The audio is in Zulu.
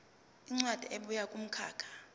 incwadi ebuya kumkhakha